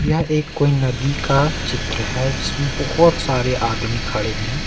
यह एक कोई नदी का चित्र है जिसमें बहुत सारे आदमी खड़े हैं।